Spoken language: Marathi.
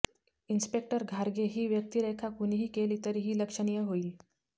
इन्स्पेक्टर घारगे ही व्यक्तिरेखा कुणीही केली तरी ती लक्षणीय होईल